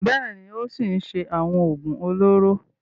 Bẹ́ẹ̀ ni, ó ṣì ń ṣe àwọn òògùn olóró.